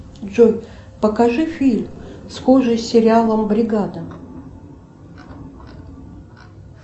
джой покажи фильм схожий с сериалом бригада